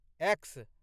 x